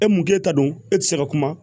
E mun k'e ta don e tɛ se ka kuma